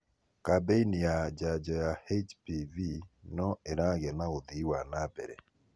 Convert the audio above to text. kabeini ya janjo ya HPV no ĩragĩa na ũthĩi wa nambere.